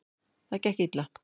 Það gekk illa.